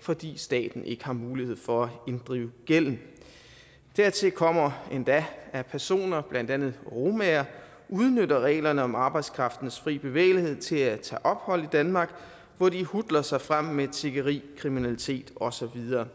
fordi staten ikke har mulighed for at inddrive gælden dertil kommer endda at personer blandt andet romaer udnytter reglerne om arbejdskraftens fri bevægelighed til at tage ophold i danmark hvor de hutler sig frem med tiggeri kriminalitet og så videre